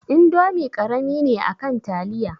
Indomi karami ne akan taliya